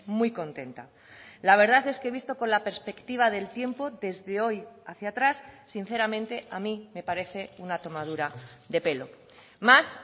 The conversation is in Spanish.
muy contenta la verdad es que visto con la perspectiva del tiempo desde hoy hacia atrás sinceramente a mí me parece una tomadura de pelo más